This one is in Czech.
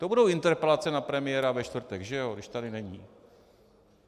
To budou interpelace na premiéra ve čtvrtek, že ano, když tady není.